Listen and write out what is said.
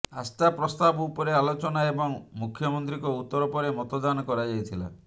ଆସ୍ଥା ପ୍ରସ୍ତାବ ଉପରେ ଆଲୋଚନା ଏବଂ ମୁଖ୍ୟମନ୍ତ୍ରୀଙ୍କ ଉତ୍ତର ପରେ ମତଦାନ କରାଯାଇଥିଲା